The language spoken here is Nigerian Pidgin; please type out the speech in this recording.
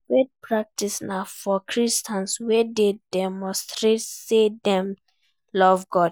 Faith practices na for Christians wey de demonstrate say dem love God